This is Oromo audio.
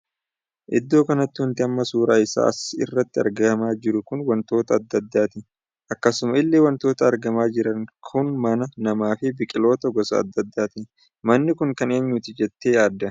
Iddoo kanatti wanti amma suuraa isaa as irratti argamaa jiru kun wantoota addaa addaati. akkasuma illee wantoonni argamaa jiran kun mana, nama fi biqiloota gosa addaa addaati. manni kun kan eenyuti jettee yaadda?